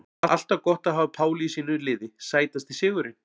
Alltaf gott að hafa Pálu í sínu liði Sætasti sigurinn?